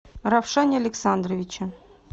равшане александровиче